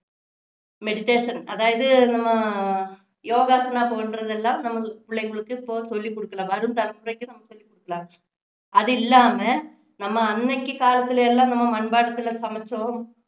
meditation அதாவது நம்ம யோகாக்கு எல்லாம் போய்ட்டு இருந்தோம்னா நம்மளுக்கு பிள்ளைங்களுக்கு இப்போ சொல்லி குடுக்கலாம் வரும் தலைமுறைக்கு நாம சொல்லி குடுக்கலாம் அது இல்லாம நாம அன்னைக்கு காலத்துல எல்லாம் நம்ம மண்பாண்டத்துல சமைச்சோம்